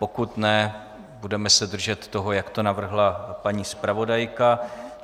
Pokud ne, budeme se držet toho, jak to navrhla paní zpravodajka.